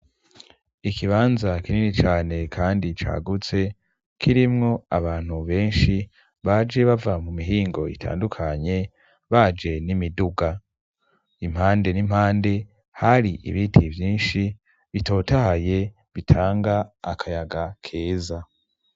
Ikibanza kinini cane, kandi cagutse kirimwo abantu benshi baje bava mu mihingo itandukanye baje n'imiduga impande n'impande hari ibiti vyinshi bitotahaye bitanga akayaga keza.